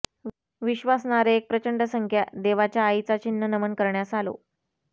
विश्वासणारे एक प्रचंड संख्या देवाच्या आईचा चिन्ह नमन करण्यास आलो